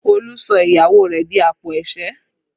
Olú sọ ìyàwó rẹ̀ di àpò ẹ̀sẹ́